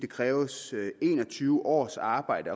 kræves en og tyve års arbejde